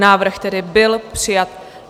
Návrh tedy byl přijat.